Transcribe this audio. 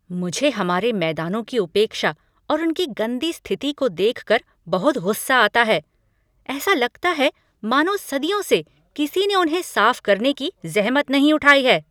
मुझे हमारे मैदानों की उपेक्षा और उनकी गंदी स्थिति को देख कर बहुत गुस्सा आता है। ऐसा लगता है मानो सदियों से किसी ने उन्हें साफ करने की जहमत नहीं उठाई है।